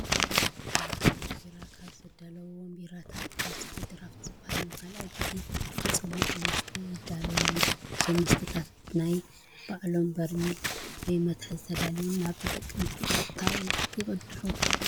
ፋብሪካታት ቢራ ካብ ዝዳለዉዎም ቢራታት ብተወሳኺ ድራፍት ዝበሃል ንካልኣይ ግዜ ዝተፀሙቐ መስተ የዳለዉ እዮም። እዞም መስተታት ብናይ ባዕሎም በሪሚል (መትሓዚ) ተዳልዮም ናብ ተጠቀምቲ ብቀጥታ ይቅድሑ።